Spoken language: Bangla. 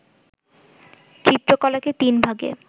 চিত্রকলাকে তিন ভাগে